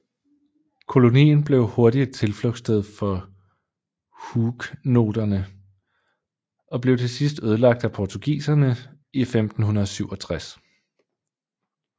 Kolonien blev hurtigt et tilflugtssted for huguenoterne og blev til sidst ødelagt af portugiserne i 1567